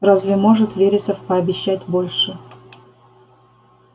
разве может вересов пообещать больше